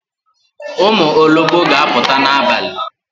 Ụmụ ologbo ga aputa n'abalị